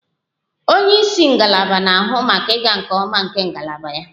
Onye isi ngalaba na-ahụ maka ịga nke ọma nke ngalaba ya / ya